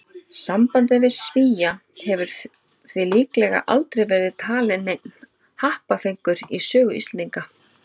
Sambandið við Svía hefur því líklega aldrei verið talinn neinn happafengur í sögu Íslendinga.